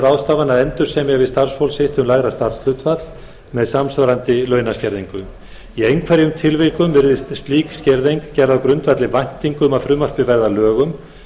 ráðstafana að endursemja við starfsfólk sitt um lægra starfshlutfall með samsvarandi launaskerðingu í einhverjum tilvikum virðist slík skerðing gerð á grundvelli væntinga um að frumvarpið verði að lögum